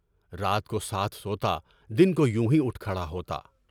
رات کو ساتھ سوتا، دن کو یونہی اُٹھ کر کھڑا ہوتا۔